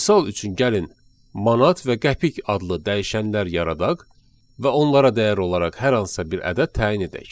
Misal üçün gəlin manat və qəpik adlı dəyişənlər yaradaq və onlara dəyər olaraq hər hansısa bir ədəd təyin edək.